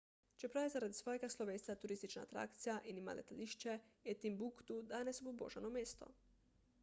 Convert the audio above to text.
čeprav je zaradi svojega slovesa turistična atrakcija in ima letališče je timbuktu danes obubožano mesto